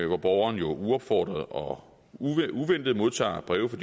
hvor borgeren jo uopfordret og uventet modtager breve fra